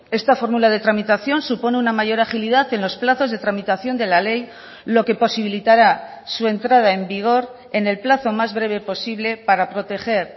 esta fórmula de tramitación supone una mayor agilidad en los plazos de tramitación de la ley lo que posibilitará su entrada en vigor en el plazo más breve posible para proteger